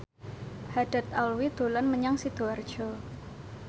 Haddad Alwi dolan menyang Sidoarjo